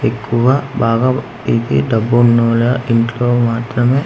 ఎక్కువ బాగా ఇది డబ్బు ఉన్నవాళ్ళ ఇంట్లో మాత్రమే ఇది--